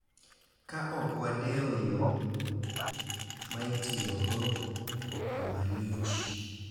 Ka ok wadewo yo ma itiyogo, gima lich,